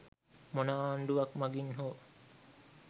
මොන ආණ්ඩුවක් මගින් හෝ